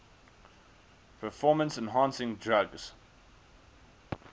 performance enhancing drugs